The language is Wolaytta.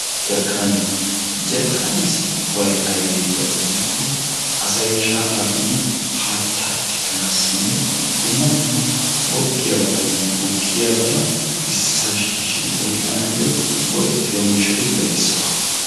Jarikkaniyaa, jarkkaniyaassi go''ay aybbe giyaaba gidikko asay shaafa biidi haatta tikkanassinne dumma dumma googiyaabatanne gukkiyaabata ississa shiishsidi oyqqnaw g''etiyo miishshaatuppe issuwaa.